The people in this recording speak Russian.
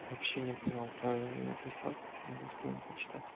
вообще не понял правильно ли написал могу скинуть почитать